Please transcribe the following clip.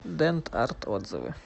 дент арт отзывы